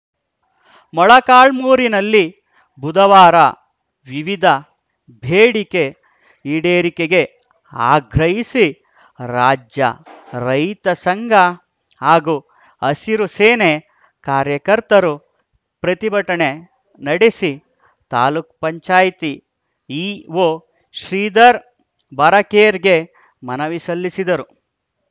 ಮೊಳಕಾಲ್ಮುರಿನಲ್ಲಿ ಬುಧವಾರ ವಿವಿಧ ಬೇಡಿಕೆ ಈಡೇರಿಕೆಗೆ ಆಗ್ರಹಿಸಿ ರಾಜ್ಯರೈತ ಸಂಘ ಹಾಗೂ ಹಸಿರು ಸೇನೆ ಕಾರ್ಯಕರ್ತರು ಪ್ರತಿಭಟನೆ ನಡೆಸಿ ತಾಲೂಕ್ ಪಂಚಾಯಿತಿ ಇಒ ಶ್ರೀಧರ್‌ ಬಾರಕೇರ್‌ಗೆ ಮನವಿ ಸಲ್ಲಿಸಿದರು